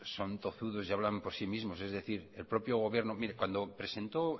son tozudos y hablan por sí mismo es decir el propio gobierno cuando presentó